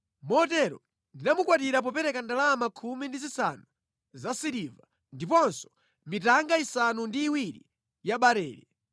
Motero ndinamukwatira popereka ndalama khumi ndi zisanu zasiliva, ndiponso mitanga isanu ndi iwiri ya barele.